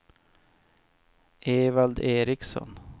Evald Ericson